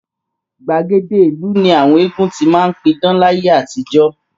Gbàgede ìlú ni àwọn eégún ti máa ń pidán láyé àtijọ́